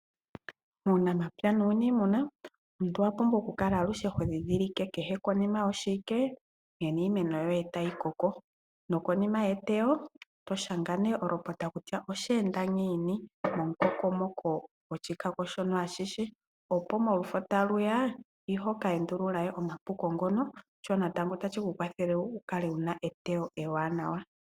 Uunamapya nuunimuna omuntu owa pumbwa okukala todhidhilike kehe konima yoshiwike nkene iimeno yoye tayi koko. Konima yeteyo otoshanga olopota kutya osheenda ngiini momukokomo goshikako shono ashihe, opo molufo taluya ihoka endula omapuko ngono. Shino ohashi kwathele omuntu a kale ena eteyo ewanawa.